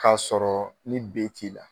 k'a sɔrɔ ni B t'i la.